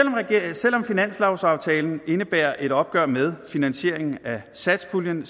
selv om finanslovsaftalen indebærer et opgør med finansieringen af satspuljen